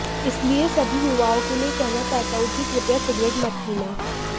इसलिए सभी युवाओं के लिए कहना चाहता हूं कि कृपया सिगरेट मत पीना